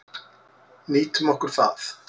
Nýtum okkur það.